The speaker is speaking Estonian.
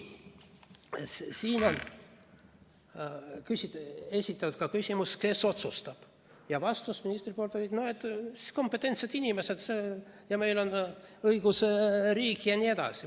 Siin esitati küsimus, kes otsustab, ja ministri vastus oli, et kompetentsed inimesed, meil on õigusriik jne.